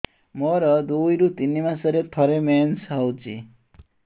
ମୋର ଦୁଇରୁ ତିନି ମାସରେ ଥରେ ମେନ୍ସ ହଉଚି